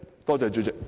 多謝主席。